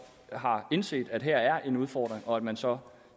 har indset at der her er en udfordring og at man så